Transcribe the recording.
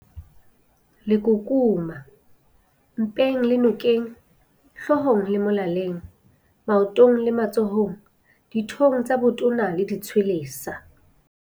Lekukuma- Mpeng le nokeng, hloohong le molaleng, maotong le matsohong, dithong tsa botona le ditshwelesa.